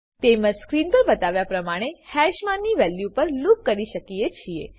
તેમજ સ્ક્રીન પર બતાવ્યા પ્રમાણે હેશમાની વેલ્યુ પર લૂપ કરી શકીએ છીએ